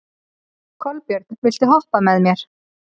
Kolbjörn, viltu hoppa með mér?